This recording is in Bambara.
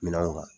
Minɛnw kan